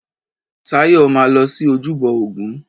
Táyọ̀ máa lọ sí ojúbọ ògún.